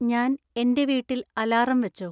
ഞാൻ, എന്‍റെ വീട്ടിൽ അലാറം വെച്ചോ?